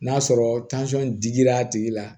N'a sɔrɔ digira a tigi la